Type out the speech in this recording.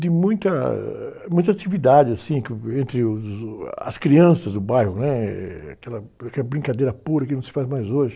de muita, ãh, muita atividade, assim, que, entre os, uh, ah, as crianças do bairro, né? Aquela, aquela brincadeira pura que não se faz mais hoje.